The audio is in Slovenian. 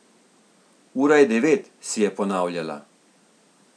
Ura je devet, si je ponavljala.